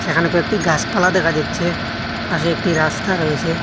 এখানে কয়েকটি গাসপালা দেখা যাচ্ছে পাশে একটি রাস্তা রয়েসে।